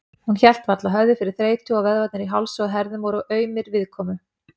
Hún hélt varla höfði fyrir þreytu og vöðvarnir í hálsi og herðum voru aumir viðkomu.